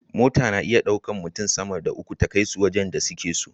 Mota na iya ɗaukan mutun sama da uku ta kai su wajan da suke so